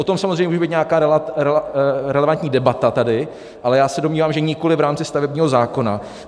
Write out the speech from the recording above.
O tom samozřejmě může být nějaká relevantní debata tady, ale já se domnívám, že nikoli v rámci stavebního zákona.